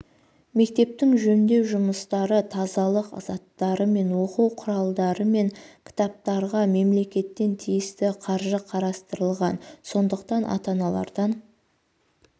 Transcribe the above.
мектептің жөндеу жұмыстары тазалық заттары мен оқу құралдары мен кітаптарға мемлекеттен тиісті қаржы қарастырылған сондықтан ата-аналардан